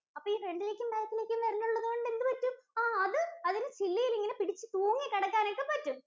അപ്പൊ ഈ front ഇലേക്കും, back ലേക്കും വിരലുകളുള്ളതുകൊണ്ട് എന്തുപറ്റും? ആഹ് അത് അതിന് ചില്ലയില് ഒകെ പിടിച്ച് തൂങ്ങി കിടക്കാനൊക്കെ പറ്റും.